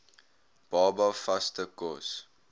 baba vaste kos